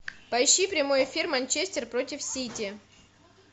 поищи прямой эфир манчестер против сити